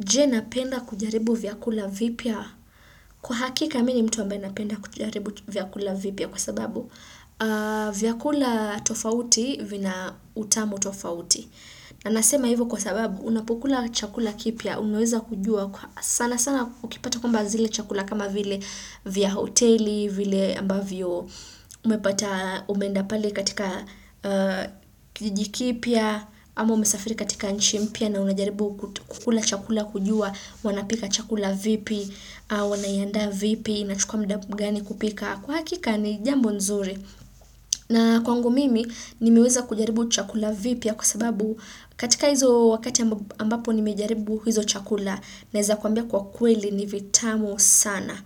Je napenda kujaribu vyakula vipya. Kwa hakika mimi ni mtu ambae napenda kujaribu vyakula vipya kwa sababu vyakula tofauti vina utamu tofauti. Na nasema hivyo kwa sababu unapokula chakula kipya, unaweza kujua sana sana ukipata kwamba zile chakula kama vile vya hoteli, vile ambavyo umepata umeenda pale katika jiji kipya, ama umesafiri katika inchi mpya na unajaribu kukula chakula kujua, wanapika chakula vipi, wanaiandaa vipi, inachukua muda gani kupika. Kwa hakika ni jambo nzuri na kwangu mimi nimeweza kujaribu chakula vipya kwa sababu katika hizo wakati ambapo nimejaribu hizo chakula naweza kuambia kwa kweli ni vitamu sana.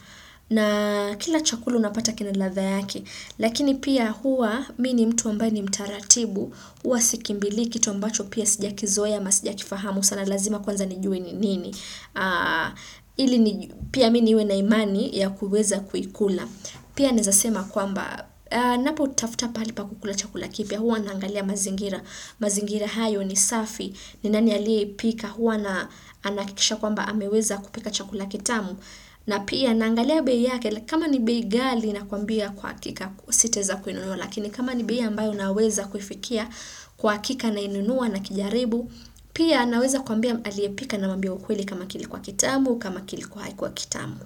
Na kila chakula unapata kina ladha yake. Lakini pia hua mimi ni mtu ambaye ni mtaratibu. Huwa sikimbili kitu ambacho pia sijakizoea ama sijakifahamu sana lazima kwanza nijue ni nini. Ili pia mimi niwe na imani ya kuweza kuikula. Pia nawezasema kwamba napo tafuta pahali pa kukula chakula kipya huwa naangalia mazingira. Mazingira hayo ni safi ni nani alie pika huwa na anakikisha kwamba ameweza kupika chakula kitamu. Na pia naangalia bei yake kama ni bei ghali na kwambia kwa kika sitaweza kuinunua Lakini kama ni bei ambayo naweza kufikia kwa hakika nainunua na kijaribu. Pia naweza kwambia aliye pika namwambia ukweli kama kilikuwa kitamu kama kilikuwa hakikuwa kitamu.